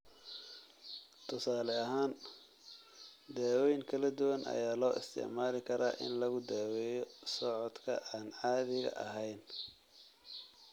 Tusaale ahaan, daawooyin kala duwan ayaa loo isticmaali karaa in lagu daweeyo socodka aan caadiga ahayn.